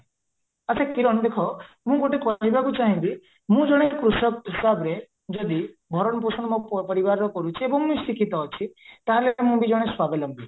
ଆଚ୍ଛା କିରଣ ଦେଖ ମୁଁ ଗୋଟେ କହିବାକୁ ଚାହିଁବି ମୁଁ ଜଣେ କୃଷକ ହିସାବରେ ଯଦି ଭରଣ ପୋଷଣ ମୋ ପରିବାରର କରୁଛି ଏବଂ ଶିକ୍ଷିତ ଅଛି ତାହେଲେ ମୁଁ ଜଣେ ସ୍ୱାବଲମ୍ବୀ